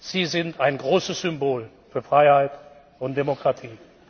Sie sind ein großes Symbol für Freiheit und Demokratie!